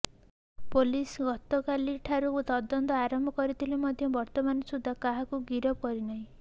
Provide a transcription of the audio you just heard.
police ଗତକାଲି ଠାରୁ ତଦନ୍ତ ଆରମ୍ଭ କରିଥିଲେ ମଧ୍ୟ ବର୍ତ୍ତମାନ ସୁଦ୍ଧା କାହାକୁ ଗିରଫ କରିନାହିଁ